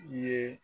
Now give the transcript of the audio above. I ye